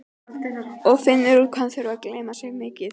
Og finnur út hvað hann þurfi að glenna sig mikið.